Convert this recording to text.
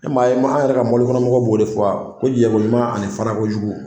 E m'a ye ma an yɛrɛ ka mɔbilikɔnɔmɔgɔw b'o de fɔ a ko jɛko ɲuman ani farako jugu